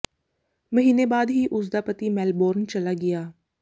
ਮਹੀਨੇ ਬਾਅਦ ਹੀ ਉਸ ਦਾ ਪਤੀ ਮੈਲਬੌਰਨ ਚਲਾ ਗਿਆ